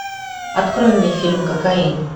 открой мне фильм кокаин